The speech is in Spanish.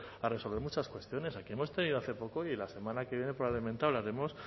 a resolver muchas cuestiones aquí hemos tenido hace poco y la semana que viene probablemente hablaremos